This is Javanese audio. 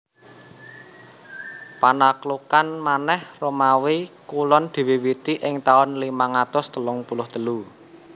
Panaklukan manèh Romawi Kulon diwiwiti ing taun limang atus telung puluh telu